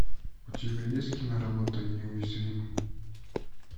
у тебя есть киноработа неуязвимый